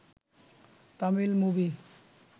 Tamil movie